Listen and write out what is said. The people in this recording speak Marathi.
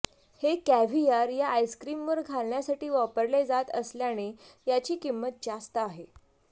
हे कॅव्हीयार या आईस्क्रीमवर घालण्यासाठी वापरले जात असल्याने याची किंमत जास्त आहे